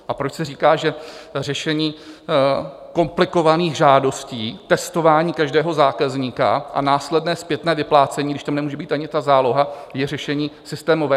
A proč se říká, že řešení komplikovaných žádostí, testování každého zákazníka a následné zpětné vyplácení, když tam nemůže být ani ta záloha, je řešení systémové?